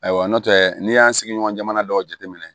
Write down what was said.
Ayiwa n'o tɛ n'i y'an sigi ɲɔgɔn jamana dɔw jate minɛ